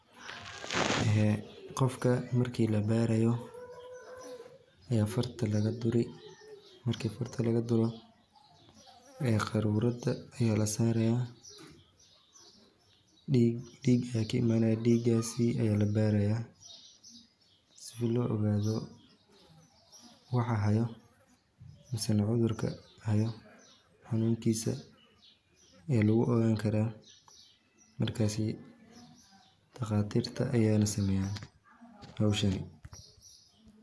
Qofka marki labaarayo farta ayaa laga duri qarurad ayaa lasaraya diiga yaa kaimanaya waa la baraya si loo ogaado waxa haayo iyo xanuunkiisa daqatirta ayaana saneeyana howshani.